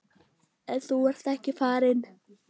En þú ert ekki farinn.